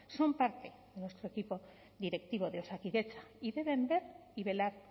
son parte de nuestro equipo directivo de osakidetza y deben ver y velar